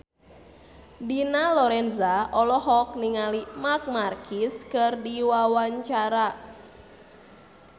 Dina Lorenza olohok ningali Marc Marquez keur diwawancara